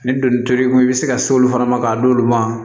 Ni donni t'i bolo ko i bɛ se ka se olu fana ma k'a d'olu ma